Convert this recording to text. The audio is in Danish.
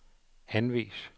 anvis